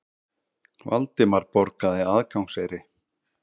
Valdimar borgaði aðgangseyri.